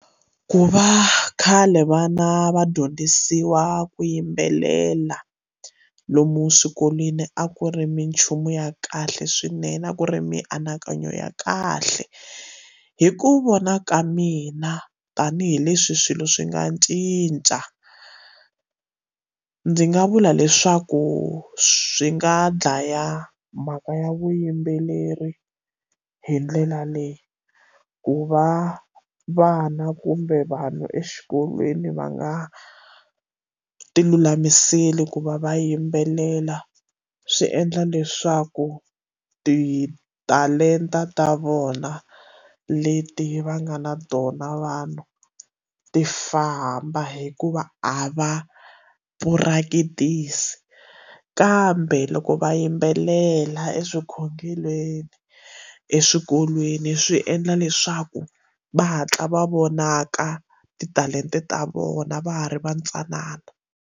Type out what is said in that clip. Ku va khale vana va dyondzisiwa ku yimbelela lomu swikolweni a ku ri minchumu ya kahle swinene a ku ri mianakanyo ya kahle hi ku vona ka mina tanihileswi swilo swi nga cinca ndzi nga vula leswaku swi nga dlaya mhaka ya vuyimbeleri hi ndlela leyi ku va vana kumbe vanhu exikolweni va nga tilulamiseli ku va va yimbelela swi endla leswaku titalenta ta vona leti va nga na tona vanhu ti famba hikuva a va purakitisi kambe loko va yimbelela eswikhongelweni eswikolweni swi endla leswaku va hatla va vonaka titalenta ta vona va ha ri va ntsanana,